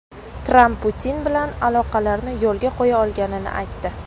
Tramp Putin bilan aloqalarni yo‘lga qo‘ya olganini aytdi.